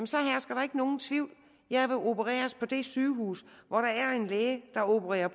så hersker der ikke nogen tvivl jeg vil opereres på det sygehus hvor der er en læge der opererer